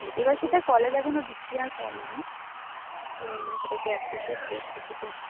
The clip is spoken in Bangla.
এবার সেটা কলেজ এখনো diclaire করেনি যে সেটাকে apprishiate করছে কিনা